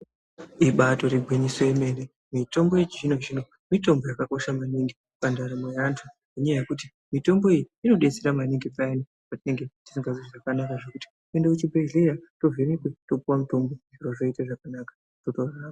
Ibaatori gwinyiso remene mene kuti mitombo yechizvino-zvino itombo yakabaakosha kwemene pandaramo yeantu ngenyaya yekuti mitombo iyi inodetsera maningi peyani payani patinenge tisingazwi zvakanaka toende kuzvibhledhlera tovhenekwe topuwe mutombo zviro zvotoita zvakanaka.